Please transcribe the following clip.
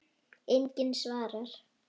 Enginn svarar.